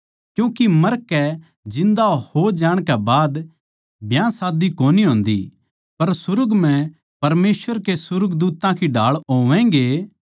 क्यूँके मरकै जिन्दा हो जाणकै बाद ब्याह शादी कोनी होन्दी पर सुर्ग म्ह परमेसवर के सुर्गदूत्तां की ढाळ होवैगें